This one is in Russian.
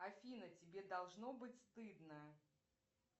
афина тебе должно быть стыдно